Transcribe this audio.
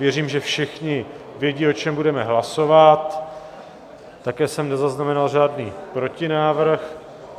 Věřím, že všichni vědí, o čem budeme hlasovat, také jsem nezaznamenal žádný protinávrh.